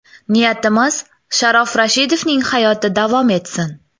Niyatimiz, Sharof Rashidovning hayoti davom etsin.